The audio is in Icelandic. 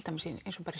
dæmis í